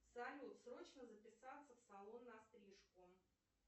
салют срочно записаться в салон на стрижку